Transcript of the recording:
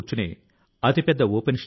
నేడు దేశం వాటి కోసం ప్రయత్నాలు చేస్తోంది